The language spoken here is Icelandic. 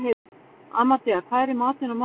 Amadea, hvað er í matinn á mánudaginn?